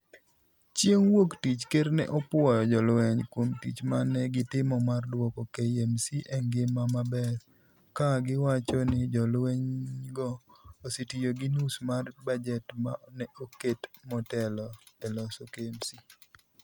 Chieng' Wuok Tich, ker ne opuoyo jolweny kuom tich ma ne gitimo mar duoko KMC e ngima maber ka giwacho ni jolwenygo osetiyo gi nus mar bajet ma ne oket motelo e loso KMC.